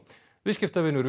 viðskiptavinur